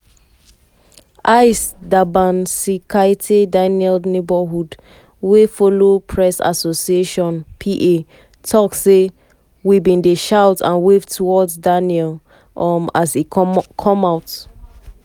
aiste dabasinskaite daniel neighbour wey follow press association (pa) tok say: "we bin dey shout and wave towards daniel um as e come out.